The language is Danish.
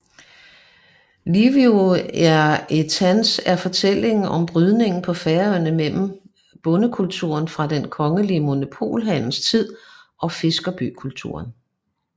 Lívið er eittans er fortællinger om brydningen på Færøerne mellem bondekulturen fra den kongelige monopolhandels tid og fiskerbykulturen